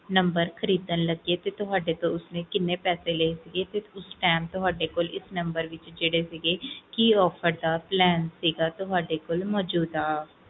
number ਖਰੀਦਣ ਲੱਗੇ ਤੇ ਤੁਹਾਡੇ ਤੋਂ ਓਹਨੇ ਕਿੰਨੇ ਪੈਸੇ ਲੈ ਸੀਗੇ ਤੇ ਉਸ time ਤੁਹਾਡੇ ਕੋਲ ਇਸ number ਤੇ ਕਿਹੜੇ ਕਿਹੜੇ ਜਾ ਸੀਗੇ ਮੌਜੂਦਾ